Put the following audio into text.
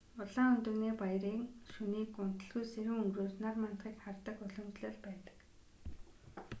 улаан өндөгний баярын шөнийг унталгүй сэрүүн өнгөрөөж нар мандахыг хардаг уламжлал байдаг